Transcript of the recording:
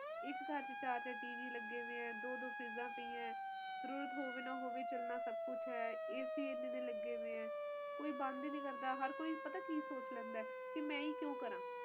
ਹੋਰ ਸੁਣਾਓ ਤੁਹਾਡੀਆਂ ਛੁੱਟੀਆਂ ਨੀ ਚਲ ਰਹੀਆਂ ਨਹੀਂ ਗ ਮੇਰਿਆ ਤਾ ਕੋਈ ਛੁੱਟੀ ਨੀ ਚਲ ਰਹੀ ਛੁੱਟੀ ਲਾਓ ਗੀ ਕਿਉਕਿ ਮੈਨੂੰ ਓਹਨਾ ਨੇ ਉਹ ਕਿਹਾ ਹੈ ਛੁੱਟੀ ਹੈ ਨੀ ਪਾਰ ਮੰਗਣੀ ਪੈਣੀ ਐ ਧੱਕੇ ਨਾਲ ਉਹ ਵੀ